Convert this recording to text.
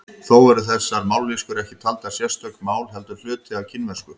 Þó eru þessar mállýskur ekki taldar sérstök mál heldur hluti af kínversku.